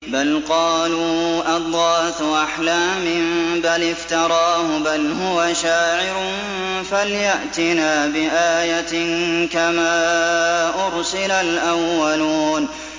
بَلْ قَالُوا أَضْغَاثُ أَحْلَامٍ بَلِ افْتَرَاهُ بَلْ هُوَ شَاعِرٌ فَلْيَأْتِنَا بِآيَةٍ كَمَا أُرْسِلَ الْأَوَّلُونَ